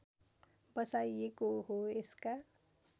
बसाइएको हो यसका